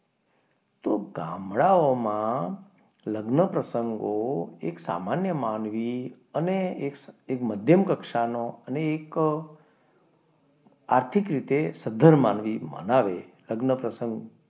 ગામડાઓમાં લગ્ન પ્રસંગો એક સામાન્ય માનવી ને એક મધ્યમ કક્ષાનું ને એક આર્થિક રીતે સધ્ધર માનવી મનાવે લગ્ન પ્રસંગ,